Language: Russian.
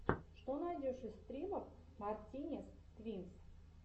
что найдешь из стримов мартинез твинс